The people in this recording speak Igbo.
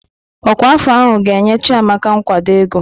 Ọkwa afọ ahụ ga-enye Chiamaka nkwado ego.